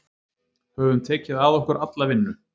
Höfum tekið að okkur alla vinnu